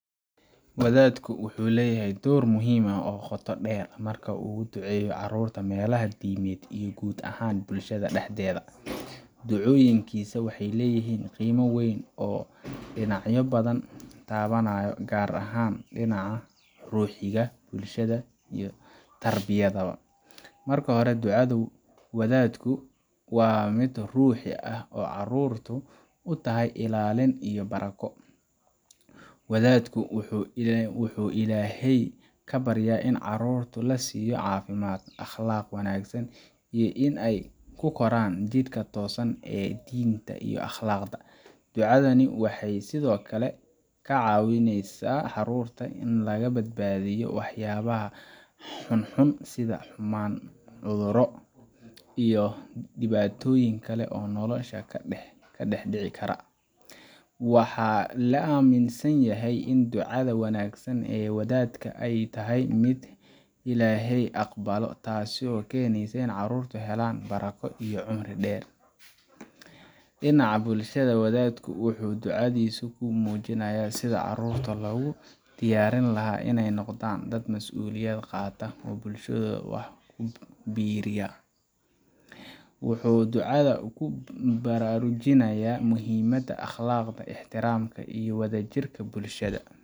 Wadaadku wuxuu leeyahay door muhiim ah oo qoto dheer marka uu uga duceeyo carruurta meelaha diimeed iyo guud ahaan bulshada dhexdeeda. Ducooyinkiisa waxay leeyihiin qiimo weyn oo dhinacyo badan taabanaya, gaar ahaan dhinaca ruuxiga, bulshada, iyo tarbiyadda. Marka hore, ducada wadaadku waa mid ruuxi ah oo carruurta u tahay ilaalin iyo barako. Wadaadku wuxuu Ilaahay ka baryaa in carruurta la siiyo caafimaad, akhlaaq wanaagsan, iyo in ay ku koraan jidka toosan ee diinta iyo akhlaaqda. Ducadani waxay sidoo kale ka caawisaa in carruurta laga badbaadiyo waxyaabaha xunxun sida xumaan, cudurro, iyo dhibaatooyin kale oo nolosha ka dhex dhici kara. Waxaa la aaminsan yahay in ducada wanaagsan ee wadaadka ay tahay mid Ilaahay aqbalo, taasoo keeneysa in carruurtu helaan barako iyo cumri dheer. Dhinaca bulshada, wadaadku wuxuu ducadiisa ku muujinayaa sidii carruurta loogu diyaarin lahaa inay noqdaan dad masuuliyad qaata oo bulshadooda wax ku biiriya. Wuxuu ducada ku baraarujinayaa muhiimadda akhlaaqda, ixtiraamka, iyo wadajirka bulshada.